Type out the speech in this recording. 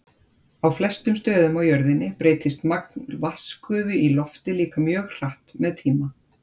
Á flestum stöðum á jörðinni breytist magn vatnsgufu í lofti líka mjög hratt með tíma.